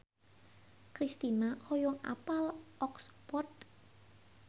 Kristina hoyong apal Oxford